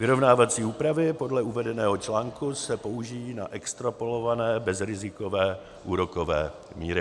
Vyrovnávací úpravy podle uvedeného článku se použijí na extrapolované bezrizikové úrokové míry.